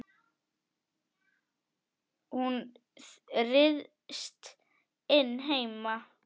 Hún ryðst inn heima.